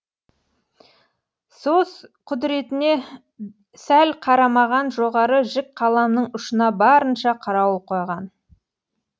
сөз құдыретіне сәл қарамаған жоғары жік қаламның ұшына барынша қарауыл қойған